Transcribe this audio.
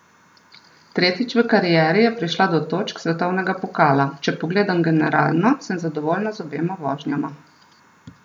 Tretjič v karieri je prišla do točk svetovnega pokala: "Če pogledam generalno, sem zadovoljna z obema vožnjama.